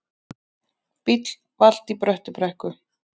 Bíll valt í Bröttubrekku